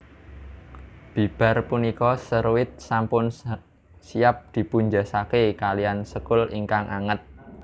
Bibar punika seruit sampun siap dipunsajèkaken kalihan sekul ingkang anget